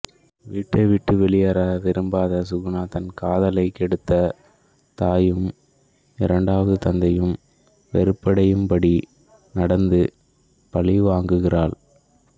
வீட்டைவிட்டு வெளியேற விரும்பாத சுகுணா தன் காதலைக் கெடுத்த தாயும் இரண்டாவது தந்தையும் வெறுப்படையும்படி நடந்து பழிவாங்குகிறாள்